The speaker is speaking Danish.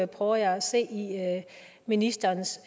prøver jeg at se i ministerens